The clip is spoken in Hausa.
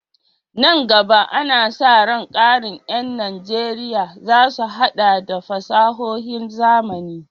Nan gaba, ana sa ran ƙarin ƴan Najeriya za su haɗa da fasahohin zamani.